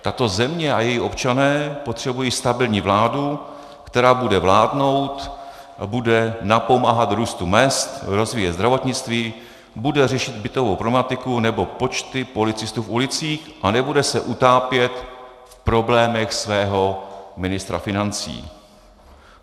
Tato země a její občané potřebují stabilní vládu, která bude vládnout a bude napomáhat růstu mezd, rozvíjet zdravotnictví, bude řešit bytovou problematiku nebo počty policistů v ulicích a nebude se utápět v problémech svého ministra financí.